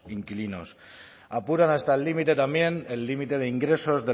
inquilinos apuran hasta el límite también el límite de ingresos